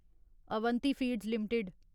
Avanti Feeds limited